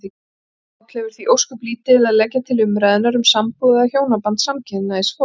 Páll hefur því ósköp lítið að leggja til umræðunnar um sambúð eða hjónaband samkynhneigðs fólks.